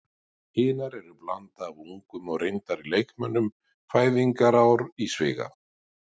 Hinar eru blanda af ungum og reyndari leikmönnum, fæðingarár í sviga.